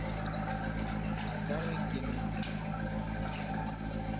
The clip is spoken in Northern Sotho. a ka re ke na